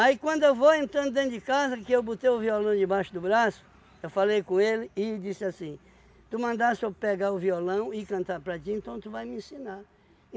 Aí quando eu vou entrando dentro de casa, que eu botei o violão debaixo do braço, eu falei com ele e disse assim, tu mandasse eu pegar o violão e cantar para ti, então tu vai me ensinar.